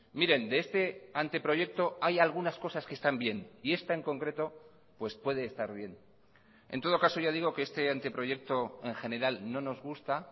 miren de este anteproyecto hay algunas cosas que están bien y esta en concreto pues puede estar bien en todo caso ya digo que este anteproyecto en general no nos gusta